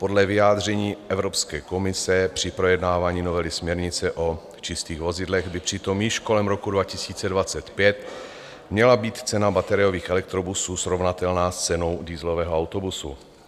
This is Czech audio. Podle vyjádření Evropské komise při projednávání novely směrnice o čistých vozidlech by přitom již kolem roku 2025 měla být cena bateriových elektrobusů srovnatelná s cenou dieselového autobusu.